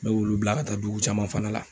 N bɛ olu bila ka taa dugu caman fana la.